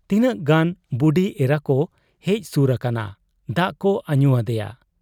ᱛᱤᱱᱟᱹᱜ ᱜᱟᱱ ᱵᱩᱰᱤ ᱮᱨᱟᱠᱚ ᱦᱮᱡ ᱥᱩᱨ ᱟᱠᱟᱱᱟ ᱾ ᱫᱟᱜ ᱠᱚ ᱟᱹᱧᱩ ᱟᱫᱮᱭᱟ ᱾